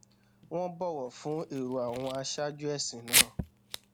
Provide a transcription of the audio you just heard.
wón bòwò fún èrò àwọn aṣáájú èsìn náà